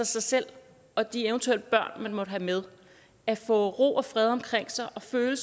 sig selv og de eventuelle børn man måtte have med at få ro og fred omkring sig og føle